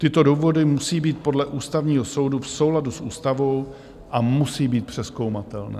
Tyto důvody musí být podle Ústavního soudu v souladu s ústavou a musí být přezkoumatelné.